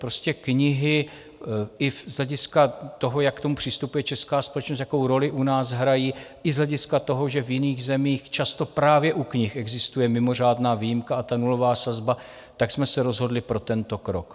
Prostě knihy i z hlediska toho, jak k tomu přistupuje česká společnost, jakou roli u nás hrají, i z hlediska toho, že v jiných zemích často právě u knih existuje mimořádná výjimka a ta nulová sazba, tak jsme se rozhodli pro tento krok.